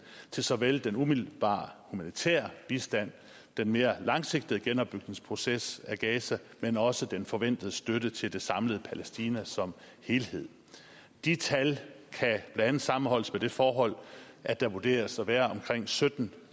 til såvel den umiddelbare humanitære bistand den mere langsigtede genopbygningsproces i gaza men også den forventede støtte til det samlede palæstina som helhed de tal kan blandt andet sammenholdes med det forhold at der vurderes at være omkring sytten